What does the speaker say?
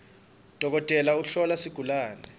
dokotela uhlola sigulawe